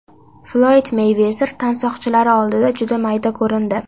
Floyd Meyvezer tansoqchilari oldida juda mayda ko‘rindi .